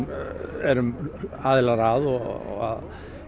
erum aðilar að og